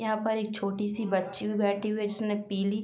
यहां पर एक छोटी सी बच्ची भी बैठी हुई है जिसने पीली --